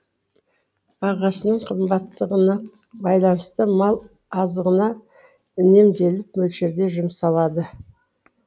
бағасының қымбаттығына байланысты мал азығына үнемделіп мөлшерде жұмсалады